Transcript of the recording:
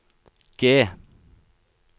G